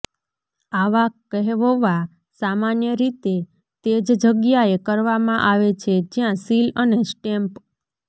આવા કહેવવા સામાન્ય રીતે તે જ જગ્યાએ કરવામાં આવે છે જ્યાં સીલ અને સ્ટેમ્પ